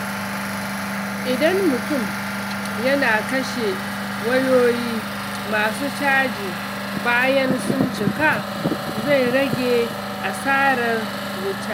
Idan mutum yana kashe wayoyi masu caji bayan sun cika, zai rage asarar wuta.